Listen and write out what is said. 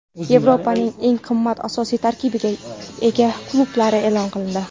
Yevropaning eng qimmat asosiy tarkibga ega klublari e’lon qilindi.